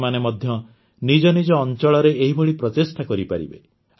ଆପଣମାନେ ମଧ୍ୟ ନିଜ ନିଜ ଅଞ୍ଚଳରେ ଏହିଭଳି ପ୍ରଚେଷ୍ଟା କରିପାରିବେ